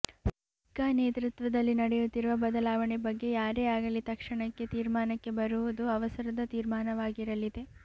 ಸಿಕ್ಕಾ ನೇತೃತ್ವದಲ್ಲಿ ನಡೆಯುತ್ತಿರುವ ಬದಲಾವಣೆ ಬಗ್ಗೆ ಯಾರೇ ಆಗಲಿ ತಕ್ಷಣಕ್ಕೆ ತೀರ್ಮಾನಕ್ಕೆ ಬರುವುದೂ ಅವಸರದ ತೀರ್ಮಾನವಾಗಿರಲಿದೆ